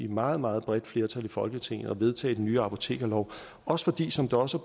meget meget bredt flertal i folketinget og vedtage den nye apotekerlov også fordi som det også